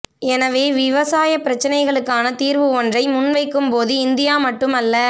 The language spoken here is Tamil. எனவே விவசாயப் பிரச்சனைகளுக்குக்கான தீர்வு ஒன்றை முன் வைக்கும்போது இந்தியா மட்டுமல்ல